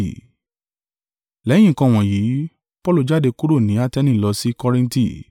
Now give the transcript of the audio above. Lẹ́yìn nǹkan wọ̀nyí, Paulu jáde kúrò ni Ateni lọ sí Kọrinti.